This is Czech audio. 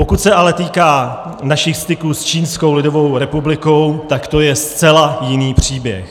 Pokud se ale týká našich styků s Čínskou lidovou republikou, tak to je zcela jiný příběh.